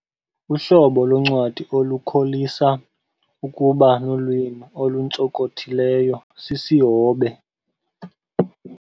Uhlobo loncwadi olukholisa ukuba nolwimi oluntsonkothileyo, sisihobe.